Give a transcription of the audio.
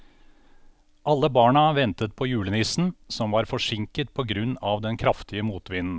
Alle barna ventet på julenissen, som var forsinket på grunn av den kraftige motvinden.